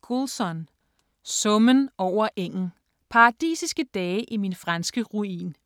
Goulson, Dave: Summen over engen: paradisiske dage i min franske ruin